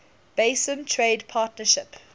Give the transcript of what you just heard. basin trade partnership